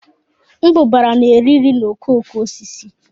Mbụbara na-eri nri na okooko osisi